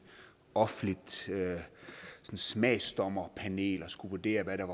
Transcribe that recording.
offentligt smagsdommerpanel der skulle vurdere hvad der